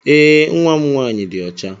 Ee, Nwa m nwaanyị dị ọcha.